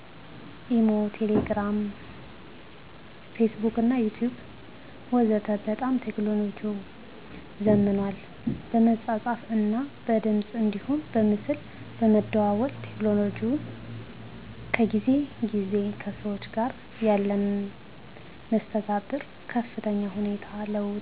ኢሞ፣ ቴሌግርም ፌስቡክና ዩቲቢብ ወዘተ በጣም ቴክኖሎጅው ዘምኗል በመጻጻፍ እና በድምጽ አንዲሁም በምስል በመደዋወል ቴክኖሎጅው ከጊዜ ግዜ ከሰዎች ጋር ያለንን መስተጋብር በከፍተኛ ሁኔታ ለውጦታል።